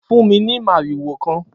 Fún mi ni màriwò kan!